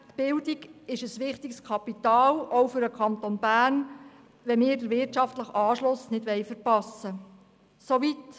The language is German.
Die Bildung ist ein wichtiges Kapital – auch für den Kanton Bern, wenn wir den wirtschaftlichen Anschluss nicht verpassen wollen.